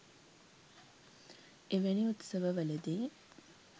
එවැනි උත්සව වලදී